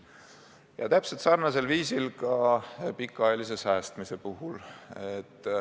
Ja täpselt sarnane on olukord pikaajalise säästmise puhul.